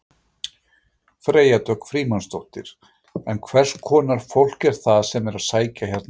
Freyja Dögg Frímannsdóttir: En hverskonar fólk er það sem er að sækja hérna um?